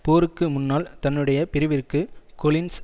போருக்கு முன்னால் தன்னுடைய பிரிவிற்கு கொலின்ஸ்